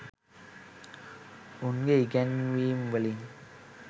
උන්ගේ ඉගැන්වීම් වලින්